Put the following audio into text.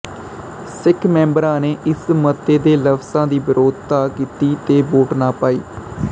ਸਿੱਖ ਮੈਂਬਰਾਂ ਨੇ ਇਸ ਮਤੇ ਦੇ ਲਫ਼ਜ਼ਾਂ ਦੀ ਵਿਰੋਧਤਾ ਕੀਤੀ ਤੇ ਵੋਟ ਨਾ ਪਾਈ